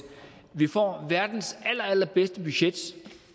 vi får verdens aller aller bedste budget